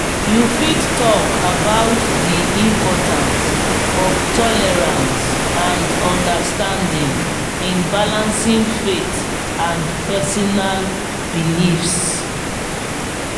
you fit talk about di importance of tolerance and understanding in balancing faith and personal beliefs.